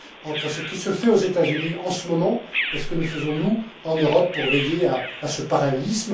entre ce qui se fait aux États Unis en ce moment et ce que nous faisons nous, en Europe, pour assurer ce parallélisme.